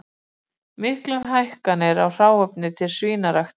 Miklar hækkanir á hráefni til svínaræktar